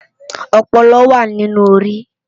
Òpòlò wá ninú óri